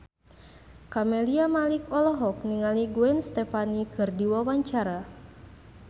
Camelia Malik olohok ningali Gwen Stefani keur diwawancara